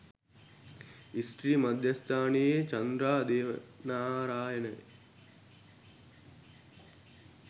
ස්ත්‍රී මධ්‍යස්ථානයේ චන්ද්‍රා දේවනාරායන